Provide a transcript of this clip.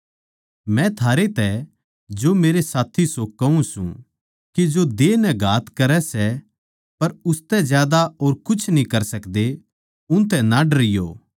मै थारै तै जो मेरे साथी सो कहूँ सूं के जो देह नै घात करै सै पर उसतै ज्यादा और कुछ न्ही कर सकदे उनतै ना डरियो